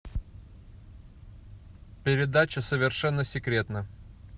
передача совершенно секретно